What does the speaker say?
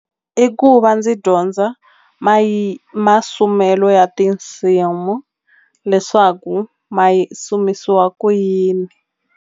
I ku va ndzi dyondza masumelo ya tinsimu leswaku ma yisi kumisiwa ku yini.